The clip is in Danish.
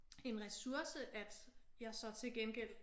En ressource at jeg så til gengæld